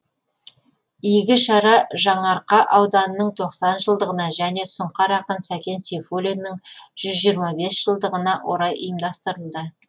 игі шара жаңарқа ауданының тоқсан жылдығына және сұңқар ақын сәкен сейфуллиннің жүз жиырма бес жылдығына орай ұйымдастырылды